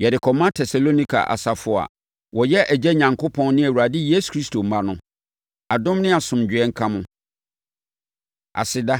Yɛde kɔma Tesalonika asafo a wɔyɛ Agya Onyankopɔn ne Awurade Yesu Kristo mma no: Adom ne asomdwoeɛ nka mo. Aseda